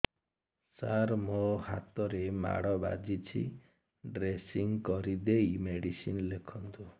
ସାର ମୋ ହାତରେ ମାଡ଼ ବାଜିଛି ଡ୍ରେସିଂ କରିଦେଇ ମେଡିସିନ ଲେଖନ୍ତୁ